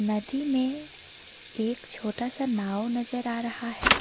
नदी में एक छोटा सा नाव नजर आ रहा है।